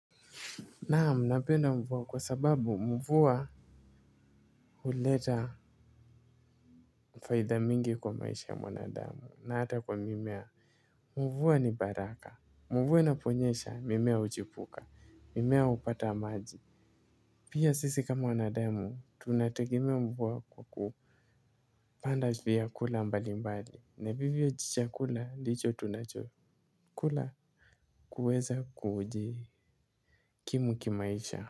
Naam napenda mvua kwa sababu mvua huleta faida mingi kwa maisha ya mwanadamu na hata kwa mimea. Mvua ni baraka mvua inaponyesha mimea huchipuka mimea hupata maji pia sisi kama wanadamu tunategemea mvua kwa ku kupanda vya kula mbali mbali na vivyo chakula ndicho tunachokula kuweza kujikimu kimaisha.